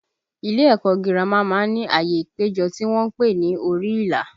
Ilé ẹ̀kọ́ gírámà má ń ní ààyè ìpéjọ tí wọ́n ń pè ní orí ìlà